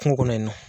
Kungo kɔnɔ yen nɔ